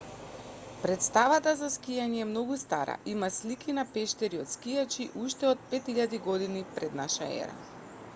претставата за скијање е многу стара има слики на пештери од скијачи уште од 5000 година п.н.е